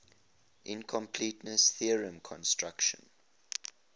incompleteness theorem constructs